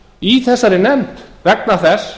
í þessari nefnd vegna þess